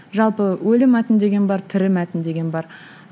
жалпы өлі мәтін деген бар тірі мәтін деген бар